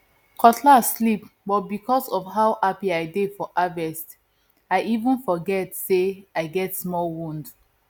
cutlass slip but because of how happy i dey for harvest i even forget say i get small wound